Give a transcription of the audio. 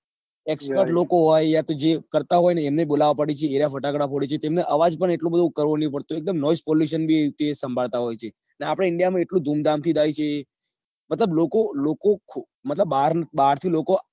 એ લોકો હોય યાતો અહિયાં થી જે કરતા હોય એમને બોલાવવા પડે છે એ રહ્યા એ ફટાકડા ફોડે છે તેમને અવાજ પણ એટલો બધો કરવું નહિ મતલબ noise pollution બી તે સંભાળતા હોય છે ને આપદા india માં એટલું ધૂમ ધામ થી થાય છે મતલબ લોકો લોકો બાર થી લોકો